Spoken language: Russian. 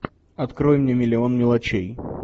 открой мне миллион мелочей